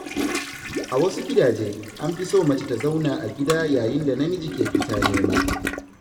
A wasu gidaje, an fi so mace ta zauna a gida yayin da namiji ke fita nema.